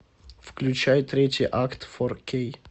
включай третий акт фор кей